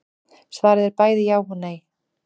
Svarið er bæði já og nei.